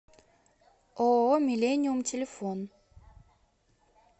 ооо миллениум телефон